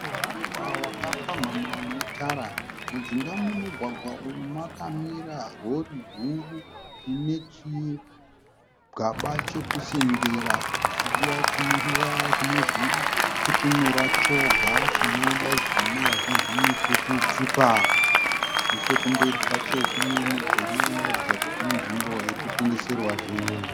Mugwagwa wakapamhamha une tara. Mujinga memugwagwa uyu makamira rori huru ine chigaba chekusengera chiya chinozvitutunura choga chinodaidzwa nevazhinji nekuti tipa. Nechekumberi kwacho kune mudhuri unoratidza kuti inzvimbo iri kutengeserwa zvinhu.